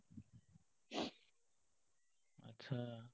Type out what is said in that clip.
আচ্ছা।